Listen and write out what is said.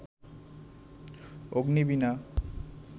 Agnibina